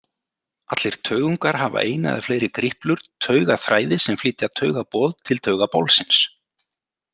Allir taugungar hafa eina eða fleiri griplur, taugaþræði sem flytja taugaboð til taugabolsins.